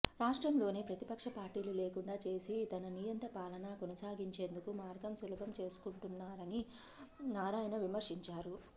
రాష్ట్రంలోనే ప్రతిపక్ష పార్టీలు లేకుండా చేసి తన నియంత పాలనా కొనసాగించేందుకు మార్గం సులభం చేసుకుంటున్నారని నారాయణ విమర్శించారు